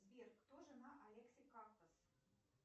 сбер кто жена алекси кактос